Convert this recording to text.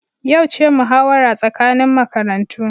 Yau ce muhawara tsakanin makarantu